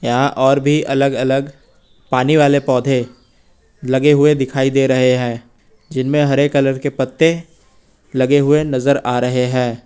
यहां और भी अलग अलग पानी वाले पौधे लगे हुए दिखाई दे रहे हैं जिनमें हरे कलर के पत्ते लगे हुए नजर आ रहे हैं।